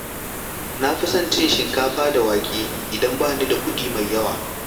Na fi son cin shinkafa da wake idan ba ni da kuɗi mai yawa.